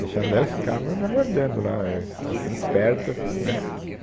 Deixava daí ele ficava me aguardando lá, ã, assi assim, esperta, né